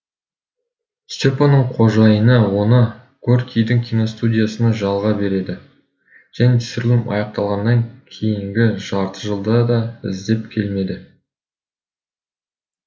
сте паның қожайыны оны горькийдің киностудиясына жалға береді және түсірілім аяқталғаннан кейінгі жарты жылда да іздеп келмеді